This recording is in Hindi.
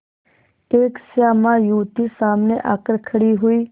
एक श्यामा युवती सामने आकर खड़ी हुई